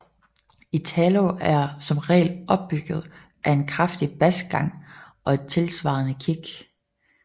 Italo er som regel opbygget af en kraftig basgang og et tilsvarende kick